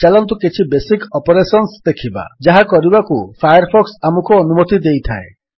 ଚାଲନ୍ତୁ କିଛି basic operations ଦେଖିବା ଯାହା କରିବାକୁ ଫାୟାରଫକ୍ସ ଆମକୁ ଅନୁମତି ଦେଇଥାଏ